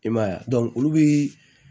I m'a ye a olu bi